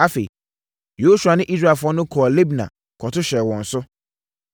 Afei, Yosua ne Israelfoɔ no kɔɔ Libna kɔto hyɛɛ wɔn so.